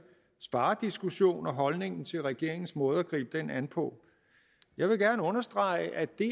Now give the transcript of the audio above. sparediskussion og holdningen til regeringens måde at gribe den an på jeg vil gerne understrege at det